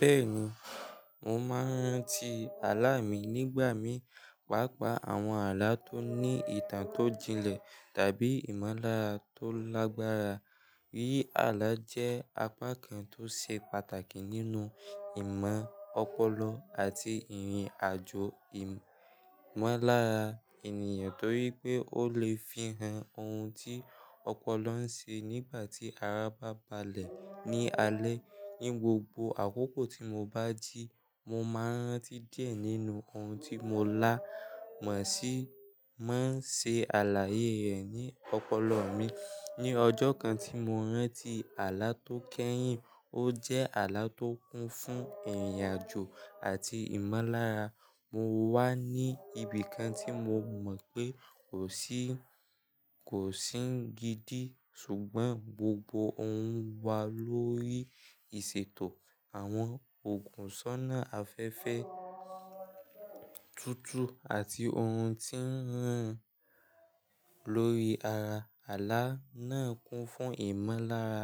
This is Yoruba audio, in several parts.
Bẹ́ẹ̀ni, mo máa ń rántí àlá mi nígbà mí pàápàá àwọn àlá tó ní ìtàn tó jinlẹ̀ tàbí ìmọ̀lára tó lágbára. Alá jẹ́ apá kan tó ṣe pàtàkì nínú ìmọ̀ ọpọlọ àti ìrìn àjò ìmọ̀lára ènìyàn torí pé ó lè fihàn ohun tí ọpọlọ ń ṣe nígbà tí ara bá balẹ̀ ní alẹ́. Ní gbogbo àkókò tí mo bá jí, mo máa ń rántí díẹ̀ nínú ohun tí mo lá mo sí máa ń ṣe àlàyé rẹ̀ ní ọpọlọ mi. Ni ọjọ́ kan tí mo rántí àlá tó kẹ́yìn ó jẹ́ àlá tó kún fún ìrìn àjò àti ìmọ̀lára, mo wá ní ibi kan tí mo mọ̀ pé kò sí, kò sí gidi ṣùgbọ́n gbogbo ohun wá lórí ìṣètò àwọn òògùn sọ́nà afẹ́fẹ́ Tutu àti ohun tí ń rin lórí ara. Àlá náà kún fún ìmọ̀lára,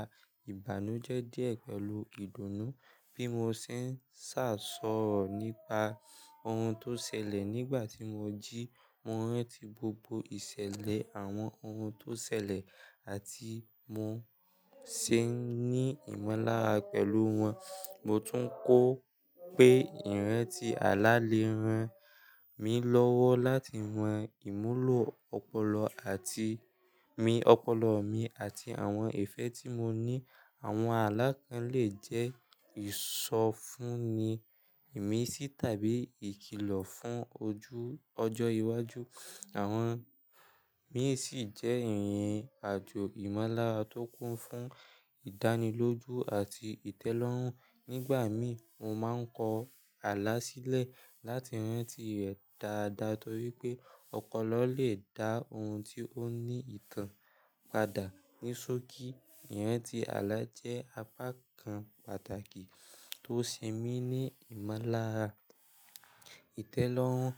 ìbànújẹ́ díẹ̀ pẹ̀lú ìdùnnú bí mo ṣe ń ṣàsọ̀ nípa ohun tó ṣẹlẹ̀ nígbà tí mo jí. Mo rántí gbogbo ìṣẹ̀lẹ̀, àwọn ohun tó ṣẹlẹ̀ àti bi mo ṣe n ní ìmọ̀lára pẹ̀lú wọn. Mo tún kọ pé ìrántí àlá lè ran mí lọ́wọ́ láti mo iwulo ọpọlọ mi, àti àwọn ìfẹ́ tí mo ní. Àwọn alá kàn lè jẹ́ ìsọfúnni, ìmísí tàbí ìkilọ̀ fún ọjọ́ iwájú. Àwọn mií sì jẹ́ ìrìn àjò ìmọ̀lára tó kún fún ìdánilójú àti ìtẹ́lọ́rùn. Nígbà míi, mo máa ń kọ àlá sílẹ̀ láti rántí rẹ̀ dáadáa torí pé ọpọlọ lè dá ohun tí ó ní nkàn padà. Nisoki, ìrántí àlá jẹ́ apá kan pàtàkì tó ṣe mí ní ìmọ̀lára, ìtẹ́lọ́rùn,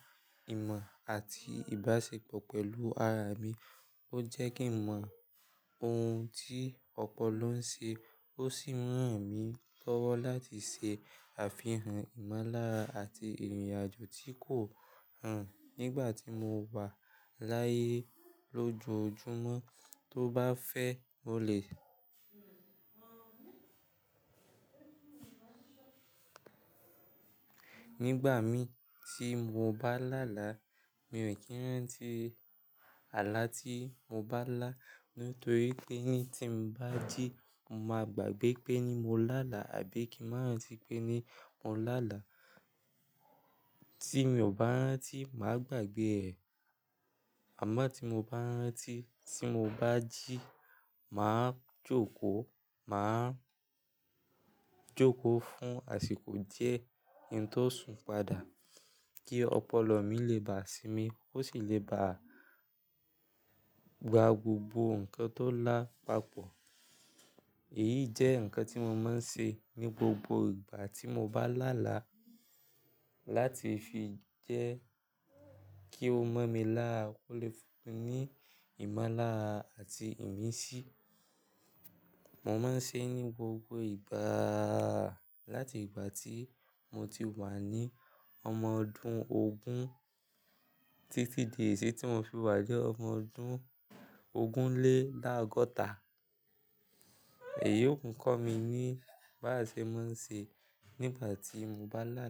ìmọ̀ àti ìbáṣepọ̀ pẹ̀lú ara mi. Ó jẹ́ kí n mọ ohun tí ọpọlọ ń ṣe, ó sì ń ràn mí lọ́wọ́ láti ṣe Afihàn ìmọ̀lára àti ìrìn àjò tí kò hàn nígbà tí mo wà láyé. Lójoojúmọ́ tó bá fẹ́, ó lè Nígbà míi tí mo bá lálàá, mi ò kí ń rántí àlá tí mo bá lá. Nítorí pé tí ń bá jí, mo máa gbàgbẹ́ pé mo lálàá àbí kí ń máa rántí pé mo lálàá. Tí mi ò bá rántí, màá gbàgbẹ́ ẹ̀. Àmọ́ tí mo bá rántí tí mo bá jí, màá jókòó, màá jókòó fún àsìkò díẹ̀ kí ń tó sùn padà kí ọpọlọ mi lè bà sí mi. Ó sì lè gba gbogbo nǹkan tó lá papọ̀. Èyí jẹ́ nǹkan tí mo máa ń ṣe ní gbogbo ìgbà tí mo bá lálàá láti fi jẹ́ kí ó mọ̀ mi lara, ó lè fún mi ní ìmọ̀lára àti ìmísí. Mo máa ń ṣe é ní gbogbo ìgbà láti ìgbà tí mo ti wà ní ọmọ ogun ọdún títí di bayii tí mo fi wá ni ọmọ aadotalelogun odun Iyoku kọ́ mi ní báaṣe ma ń ṣe nígbà tí mo bá lálàá.